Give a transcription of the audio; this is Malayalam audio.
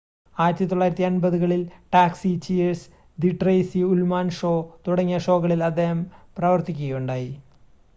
1980-കളിൽ Taxi Cheers The Tracey Ullman Show തുടങ്ങിയ ഷോകളിൽ അദ്ദേഹം പ്രവർത്തിക്കുകയുണ്ടായി